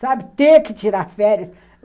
Sabe, ter que tirar férias.